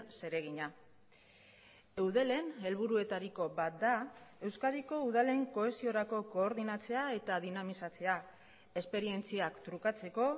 zeregina eudelen helburuetariko bat da euskadiko udalen kohesiorako koordinatzea eta dinamizatzea esperientziak trukatzeko